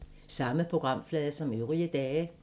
Samme programflade som øvrige dage